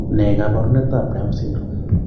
Ne kaabarunetap Down syndrome?